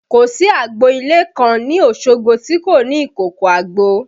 Kò sí agbo ilé kan ní Osogbo tí kò ní ìkòkò àgbò